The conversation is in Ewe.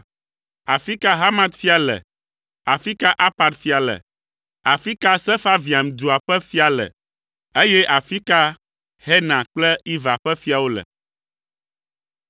Afi ka Hamat fia le, afi ka Arpad fia le, afi ka Sefarvaim dua ƒe fia le, eye afi ka Hena kple Iva ƒe fiawo le?”